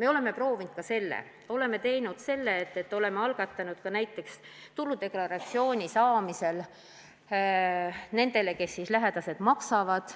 Me oleme proovinud ka seda, et oleme teinud ettepaneku, et tuludeklaratsiooni esitamisel oleks õigus nendele, kes lähedaste eest maksavad,